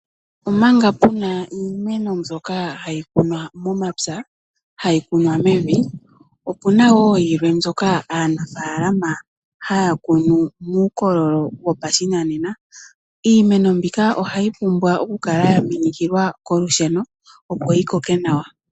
Omanga puna iimeno mbyoka hayi kunwa momapya ano hayi kunwa mevi ,opena woo mbyoka aanafalama haya kunu muukololo wopashinanena iimeno mbika ohayi pumbwa okukala ya minikilwa kolusheno opo yi koke nawa.